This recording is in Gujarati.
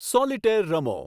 સોલીટેર રમો